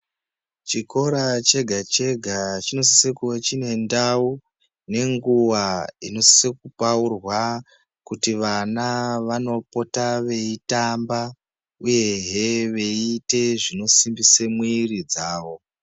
Chikora chega-chega chinosise kuwe chine ndau, nenguwa inosise kupaurwa, kuti vana vanopota veitamba, uyehe veiite zvinosimbise mwiri dzavo.